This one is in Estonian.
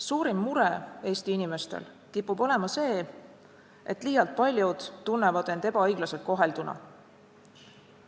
Suurim mure Eesti inimestel kipub olema see, et liialt paljud tunnevad end ebaõiglaselt kohelduna.